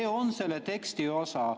See on selle teksti osa.